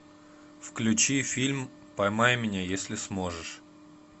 включи фильм поймай меня если сможешь